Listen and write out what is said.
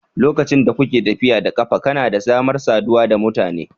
Lokacin da kuke tafiya da ƙafa, kuna da damar saduwa da mutane.